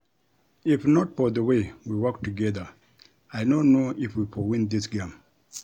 If not for the way we work together I no know if we for win dis game